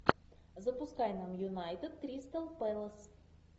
запускай нам юнайтед кристал пэлас